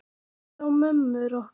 Kalla á mömmur okkar?